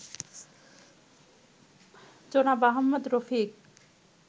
জনাব আহমদ রফিক